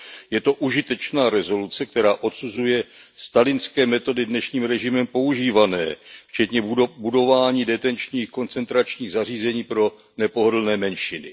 Je to užitečná rezoluce, která odsuzuje stalinské metody dnešním režimem používané, včetně budování detenčních koncentračních zařízení pro nepohodlné menšiny.